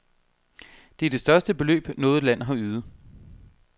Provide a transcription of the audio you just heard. Det er det største beløb, noget land har ydet.